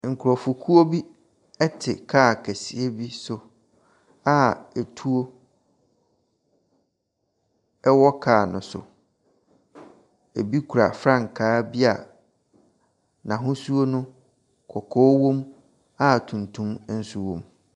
Nkurɔfokuo bi te kaa kɛseɛ bi so a atuo wɔ kaa ne so. Ɛbi kura frankaa bi a n’ahosuo no, kɔkɔɔ wɔm a tuntum nso wɔm.